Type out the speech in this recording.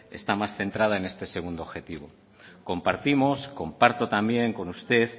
está más centrada en este segundo objetivo compartimos comparto también con usted